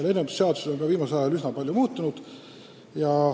Lennundusseadus on viimasel ajal üsna palju muutunud.